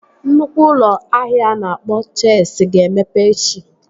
Nnukwu ụlọ ahịa a na-akpọ Chesi ga-emepe echi